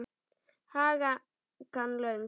Hakan löng.